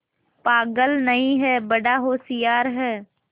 पागल नहीं हैं बड़ा होशियार है